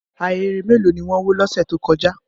Ahéré mélòó ni wọ́n wó lọ́sẹ̀ tó kọjá?